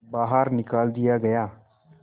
बाहर निकाल दिया गया